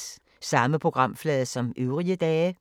Samme programflade som øvrige dage